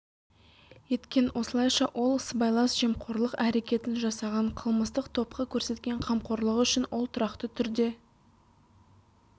етекен осылайша ол сыбайлас жемқорлық әрекетін жасаған қылмыстық топқа көрсеткен қамқорлығы үшін ол тұрақты түрде